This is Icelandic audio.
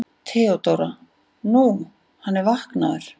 THEODÓRA: Nú, hann er vaknaður.